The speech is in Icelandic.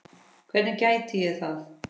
Hvernig gæti ég það?